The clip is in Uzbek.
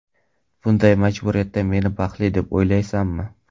Bunday majburiyatdan meni baxtli deb o‘ylaysanmi?